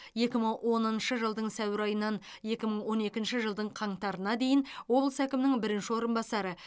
екі мың оныншы жылдың сәуір айынан екі мың он екінші жылдың қаңтарына дейін облыс әкімінің бірінші орынбасары